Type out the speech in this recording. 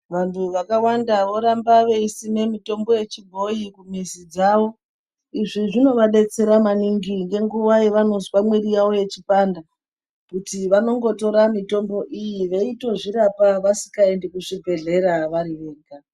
Vantu vakawanda voramba veisima mitombo yechibhoyi mumizi dzavo izvi zvinovabetsera maningi ngenguva yavanozwa miri dzavo dzechipanda nekuti vanongotora mitombo iyi vechitozvirapa vasikaendi kuchibhedhlera vari vega .